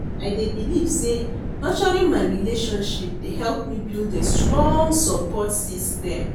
I dey believe say nurturing my relationship dey help me build a strong support system.